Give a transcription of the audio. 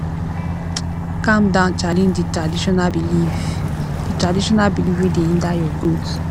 calm down challenge di traditional belief di traditional belief wey dey hinder your growth